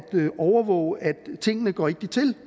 overvåge at tingene går rigtigt til